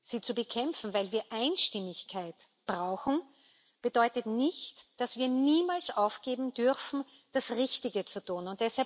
sie zu bekämpfen, weil wir Einstimmigkeit brauchen, bedeutet nicht, dass wir aufgeben dürfen, das Richtige zu tun.